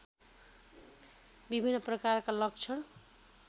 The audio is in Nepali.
विभिन्न प्रकारका लक्षण